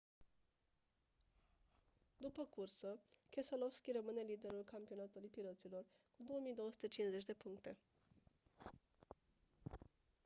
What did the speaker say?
după cursă keselowski rămâne liderul campionatului piloților cu 2250 de puncte